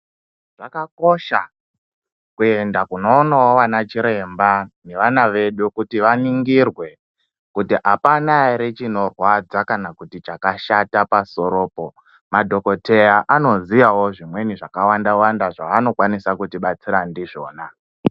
Zvakakosha kuenda kunoonawo vana chiremba nevana vedu kuti vaningirwe kuri apana ere chinorwadza kana kuti chakashata pasoropo, madhokoteya anoziyawo zvimweni zvakawanda Wanda zvaanokwanisa kutibatsira ndizvona.